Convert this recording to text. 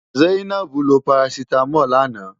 Zainab lo parasítámọ̀ lánàá.